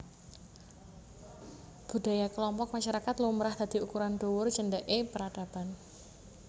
Budaya kelompok masyarakat lumrah dadi ukuran dhuwur cendheke peradaban